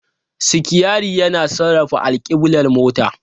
Sitiyari yana sarrafa alkiblar motar.